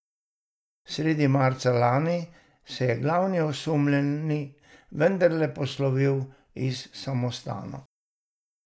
Sredi marca lani se je glavni osumljeni vendarle poslovil iz samostana.